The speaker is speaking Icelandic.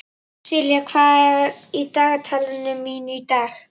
Silla, hvað er í dagatalinu mínu í dag?